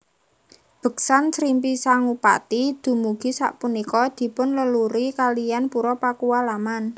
Beksan Srimpi Sangupati dumugi sapunika dipun leluri kalian Pura Pakualaman